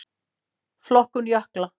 Flokkun jökla